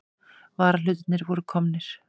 Varahlutirnir voru komnir.